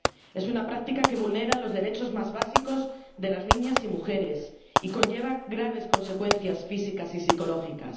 Es una práctica que vulnera los derechos más básicos de las niñas y mujeres, y conlleva graves consecuencias físicas y psicológicas.